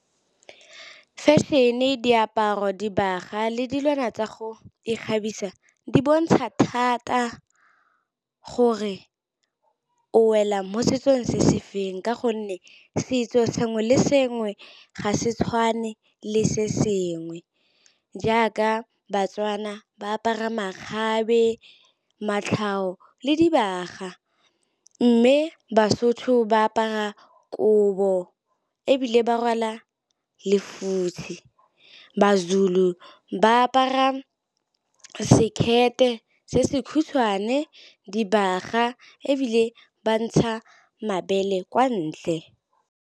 Fashion-e, diaparo, dibaga le dilwana tsa go ikgabisa di bontsha thata gore o wela mo setsong se se feng. Ka gonne setso sengwe le sengwe ga se tshwane le se sengwe. Jaaka ba-Tswana ba apara makgabe, matlhaho le dibaga. Mme ba-Sotho ba apara kobo ebile ba rwala lefutshe. Ba-Zulu ba apara sekete se se kgutshwane, dibaga ebile ba ntsha mabele kwa ntle.